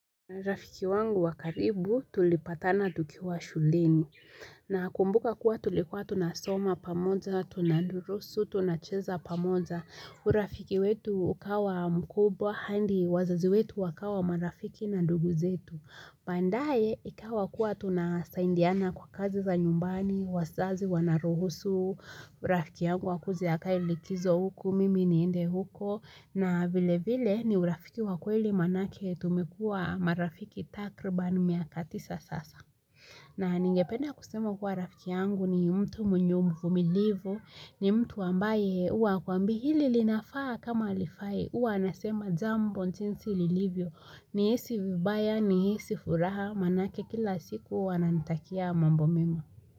Rafiki wangu wakaribu tulipatana tukiwa shuleni. Nakumbuka kuwa tulikuwa tunasoma pamoja, tunadurusu, tunacheza pamoja. Urafiki wetu ukawa mkubwa handi wazazi wetu wakawa marafiki na duguzetu. Bandaye ikawa kuwa tunasaindiana kwa kazi za nyumbani, wasazi wanaruhusu. Urafiki yangu akuje akae likizo huku, mimi niende huko. Na vile vile ni urafiki wa kweli manake tumekua marafiki takrban miaka tisa sasa. Na ningependa kusema kuwa rafiki yangu ni mtu mwenye uvumilivu. Ni mtu ambaye ua hakuambii hili linafaa kama alifai. Ua anasema jambo jinsi lilivyo. Ni hisi vibaya ni hisi furaha manake kila siku huwa ananitakia mambo mimo.